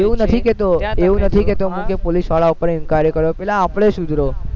એવું નથી કેતો એવું નથી કેતો હું કે પોલીસવાલ ઉપર inquiry કરો પેલા આપણે સુધરો